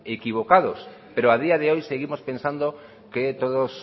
equivocados pero a día de hoy seguimos pensando que todos